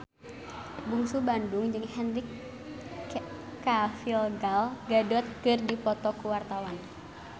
Bungsu Bandung jeung Henry Cavill Gal Gadot keur dipoto ku wartawan